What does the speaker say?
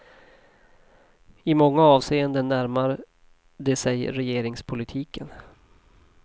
I många avseenden närmar de sig regeringspolitiken.